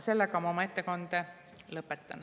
Siinkohal ma oma ettekande lõpetan.